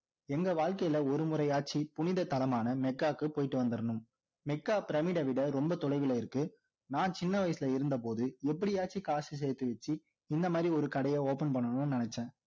எங்க வாழ்கையில ஒரு முறையாச்சி புனித தனமான மெக்காவுக்கு போயிட்டு வந்திடணும் மெக்கா பிரமிட விட ரொம்ப தொலைவில இருக்கு நான் சின்ன வயசுல இருந்த போது எப்படியாவது காசு சேத்து வச்சு இந்த மாதிரி ஒரு கடைய open பண்ணணும்னு நினைச்சேன்